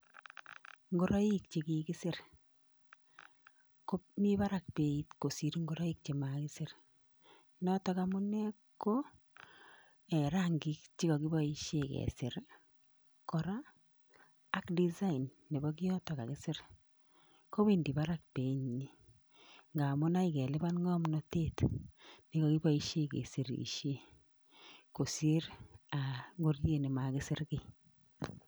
Ngoroik chekikisir, komi barak beit kosir ngoroik chemakisir. Notok amune, ko rangik chekakiboishe kesir kora ak design nebo kiotok kakisir. Kowendi barak beinyi, ngamun akoi kelipan ng'omnotet nekakiboishe kesirishe kosir ngoriet nemakisir.